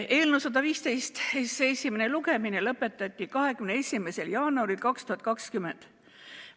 Eelnõu 115 esimene lugemine lõpetati 21. jaanuaril 2020.